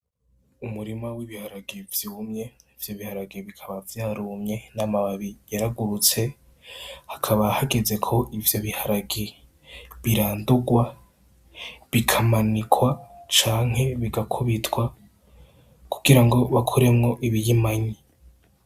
Umurima w'ibiharage vyumye, ivyo biharage bikaba vyatumye n'amababi yaragurutse, hakaba hageze ko ivyo biharage birandurwa, bikamanikwa canke bigakubitwa kugira ngo bakore ibihimanye.